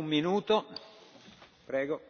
Mr President,